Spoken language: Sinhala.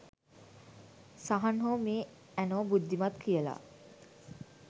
සහන් හෝ මේ ඇනෝ බුද්ධිමත් කියලා